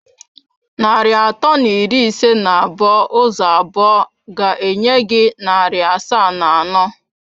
Narị atọ na iri ise na abụọ ụzọ abụọ ga-enye gị narị asaa na anọ.